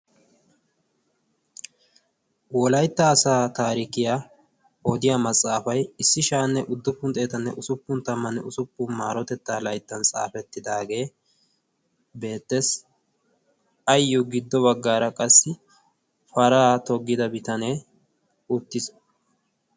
wolaytta asaa taarikiyaa oodiya maxaafay issi sha77anne udduppun xeetanne usuppun tammanne usuppun maarotettaa layttan xaafettidaagee beettees. ayyo giddo baggaara qassi paraa toggida bitanee uttiis.